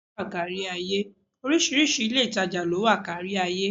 Oríṣiríṣi ilé-ìtàjà ló wà kárí ayé